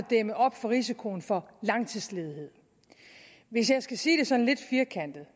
dæmme op for risikoen for langtidsledighed hvis jeg skal sige det sådan lidt firkantet